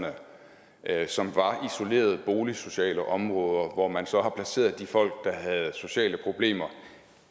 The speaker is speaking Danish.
ja jeg at som var isolerede boligsociale områder hvor man så har placeret de folk der havde sociale problemer